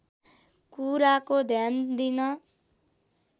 कुराको ध्यान दिन